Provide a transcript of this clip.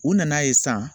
U nana ye san